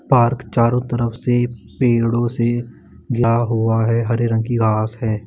Park चारो तरफ से पेड़ों से भरा हुआ है हरे रंग की घास है।